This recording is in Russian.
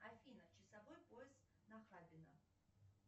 афина часовой пояс нахабино